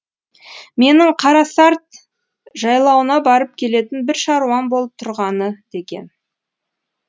менің қарасарт жайлауына барып келетін бір шаруам болып тұрғаны деген